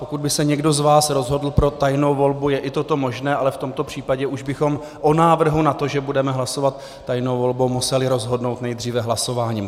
Pokud by se někdo z vás rozhodl pro tajnou volbu, je i toto možné, ale v tomto případě už bychom o návrhu na to, že budeme hlasovat tajnou volbou, museli rozhodnout nejdříve hlasováním.